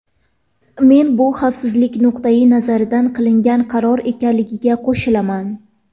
Men bu xavfsizlik nuqtai nazaridan qilingan qaror ekanligiga qo‘shilaman.